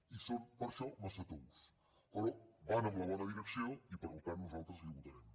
i són per això massa tous però van en la bona direcció i per tant nosaltres la hi votarem